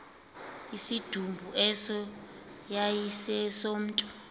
isidumbu eso yayisesomntu